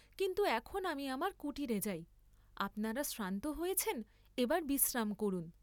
কিন্তু এখন আমি আমার কুটীরে যাই, আপনারা শ্রান্ত হয়েছেন এবার বিশ্রাম করুন।